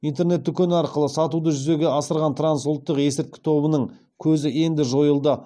интернет дүкені арқылы сатуды жүзеге асырған трансұлттық есірткі тобының көзі енді жойылды